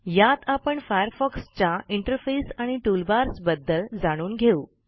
यात आपण फायरफॉक्सच्या इंटरफेस आणि टूलबार्स बद्दल जाणून घेऊ